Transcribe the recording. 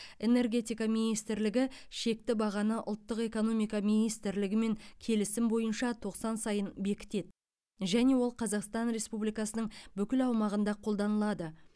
энергетика министрлігі шекті бағаны ұлттық экономика министрлігімен келісім бойынша тоқсан сайын бекітеді және ол қазақстан республикасының бүкіл аумағында қолданылады